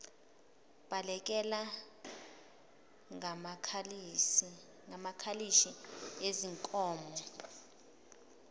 balekelela ngamakalishi ezinkomo